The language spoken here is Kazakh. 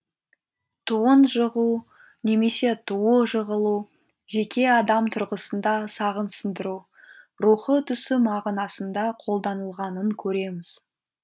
туын жығу немесе туы жығылу жеке адам тұрғысында сағын сындыру рухы түсу мағынасында қолданылғанын көреміз